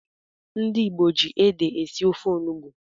Ndị Igbo ji ede esi ofe onugbu.